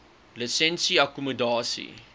lisensie akkommodasie